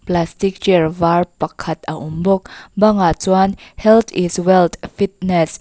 plastic chair var pakhat a awm bawk bangah chuan health is wealth fitness --